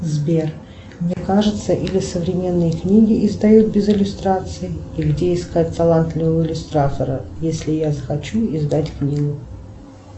сбер мне кажется или современные книги издают без иллюстраций и где искать талантливого иллюстратора если я захочу издать книгу